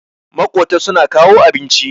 makota suna kawo abinci